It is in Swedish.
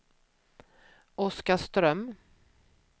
Oskarström